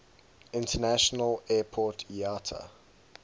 international airport iata